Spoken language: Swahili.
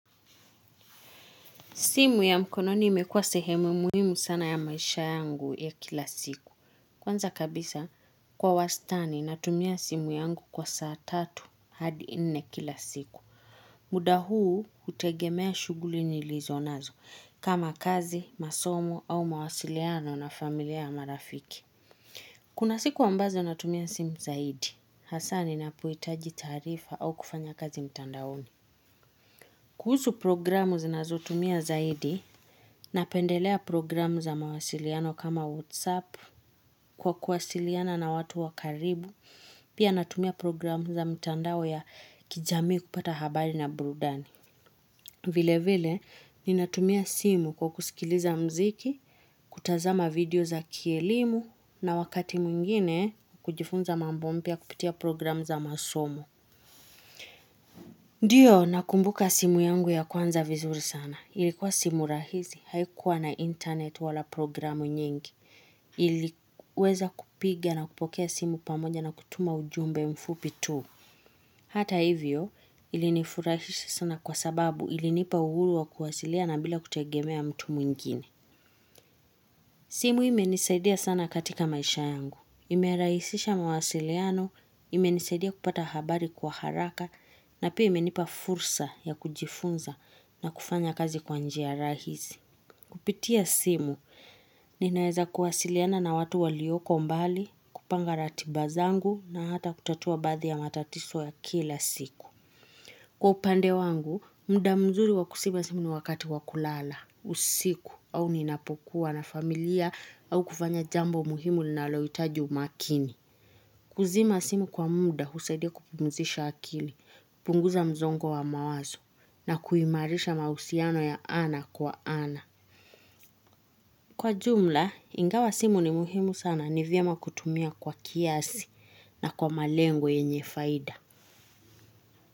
Simu ya mkononi imekuwa sehemu muhimu sana ya maisha yangu ya kila siku. Kwanza kabisa, kwa wastani natumia simu yangu kwa saa tatu hadi ine kila siku. Muda huu hutegemea shuguli nilizo nazo, kama kazi, masomo au mawasiliano na familia na marafiki. Kuna siku ambazo natumia simu zaidi. Hasaa ninapohitaji taarifa au kufanya kazi mtandaoni. Kuhusu programu zinazotumia zaidi, napendelea programu za mawasiliano kama WhatsApp, kwa kuwasiliana na watu wa karibu, pia natumia programu za mtandao ya kijamii kupata habari na burudani. Vile vile, ninatumia simu kwa kusikiliza mziki, kutazama video za kielimu, na wakati mwingine kujifunza mambo mpya kupitia program za masomo. Ndiyo, nakumbuka simu yangu ya kwanza vizuri sana. Ilikuwa simu rahisi, haikuwa na internet wala programu nyingi. Iliweza kupiga na kupokea simu pamoja na kutuma ujumbe mfupi tu. Hata hivyo, ilinifurahisha sana kwa sababu ilinipa uhuru wa kuwasiliana bila kutegemea mtu mwingine. Simu imenisaidia sana katika maisha yangu. Imeraisisha mawasiliano, imenisaidia kupata habari kwa haraka, na pia imenipa fursa ya kujifunza na kufanya kazi kwa njia rahisi. Kupitia simu, ninaeza kuwasiliana na watu walioko mbali, kupanga ratiba zangu na hata kutatua baadhi ya matatiso ya kila siku. Kwa upande wangu, mda mzuri wa kusiba simu ni wakati wa kulala, usiku, au ninapokuwa na familia au kufanya jambo muhimu linaloitaji umakini. Kuzima simu kwa mda husaidia kupumzisha akili, kupunguza mzongo wa mawazo na kuimarisha mahusiano ya ana kwa ana. Kwa jumla, ingawa simu ni muhimu sana ni vyema kutumia kwa kiasi na kwa malengo yenye faida.